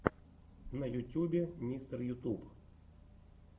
на ютьюбе мистер ютуб